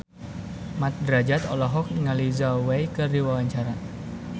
Mat Drajat olohok ningali Zhao Wei keur diwawancara